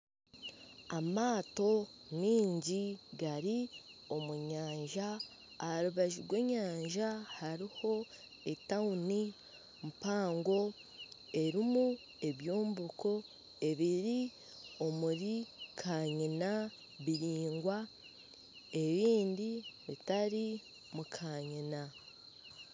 Amaato mingi gari omu nyanja. Aharubaju rw'enyanja hariho etawuni mpango erimu ebyombeko ebiri omuri kanyina biringwa ebindi bitari mu kanyina.